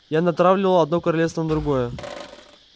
я натравливал одно королевство на другое